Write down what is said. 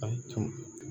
A tun